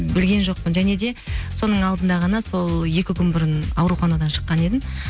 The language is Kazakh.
білген жоқпын және де соның алдында ғана сол екі күн бұрын ауруханадан шыққан едім